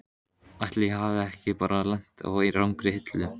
Ætli ég hafi ekki bara lent á rangri hillu.